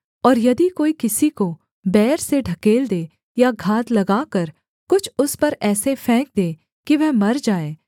और यदि कोई किसी को बैर से ढकेल दे या घात लगाकर कुछ उस पर ऐसे फेंक दे कि वह मर जाए